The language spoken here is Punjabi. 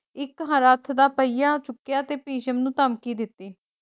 ਇੱਕ ਰੱਥ ਦਾ ਪਹੀਆ ਚੁੱਕਿਆ ਤੇ ਭਿਸ਼ਮ ਨੂੰ ਧਮਕੀ ਦਿੱਤੀ